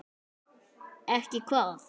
Ekki hvað?